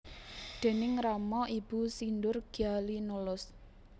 Déning rama ibu sindur gya linolos